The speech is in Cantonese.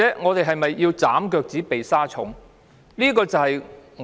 我們是否要"斬腳趾避沙蟲"？